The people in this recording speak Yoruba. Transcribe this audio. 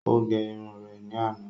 Ó gẹ irun rẹ̀ ní àná